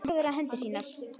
Hún horfir á hendur sínar.